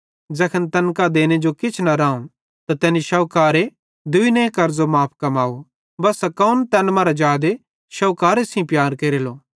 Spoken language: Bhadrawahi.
ज़ैखन तैन कां देने जो किछ न राऊं त तैनी शोहोकरे दुइने कर्ज़ो माफ़ कमाव बस्सा कौन तैन मरां जादे शोहुकारे सेइं प्यार केरेलो